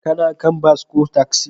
Ka kan bas ko taksi?